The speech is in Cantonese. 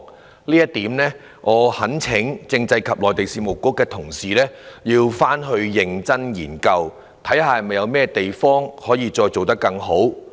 就這一點，我懇請政制及內地事務局認真研究，看看有甚麼地方可以做得更好。